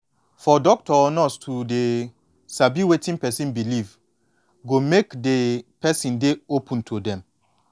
for doctor or nurse to dey sabi wetin person believe go make de person dey open to dem